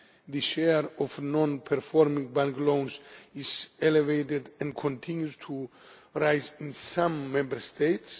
high. The share of non performing bank loans is elevated and continues to rise in some Member